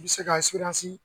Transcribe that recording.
I bɛ se ka